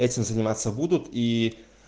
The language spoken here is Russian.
этим заниматься будут и